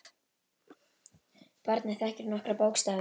Barnið þekkir nokkra bókstafi nú þegar.